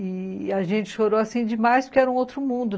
E a gente chorou assim demais porque era um outro mundo.